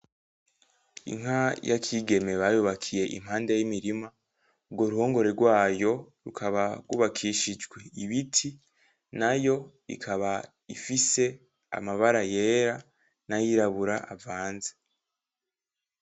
Inka ya Kigeme bayubakiye impande y'imirima, urwo ruhongore rwayo rukaba rwubakishijwe ibiti, nayo ikaba ifise amabara yera n'ayirabura avanze.